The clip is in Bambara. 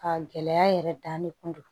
Ka gɛlɛya yɛrɛ dan ne kun do